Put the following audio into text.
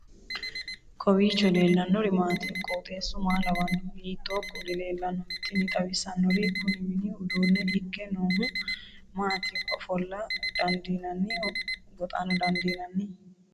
kowiicho leellannori maati ? qooxeessu maa lawaanno ? hiitoo kuuli leellanno ? tini xawissannori kuni mini uduunne ikke noohu maati ofolla dandiinanniho goxano dandiinanni